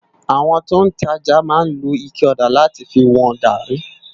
Awòn tó n tàjá má n ló iké òdá làtí fi wòn gàrí